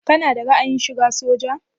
Kana da ra'ayin shiga soja?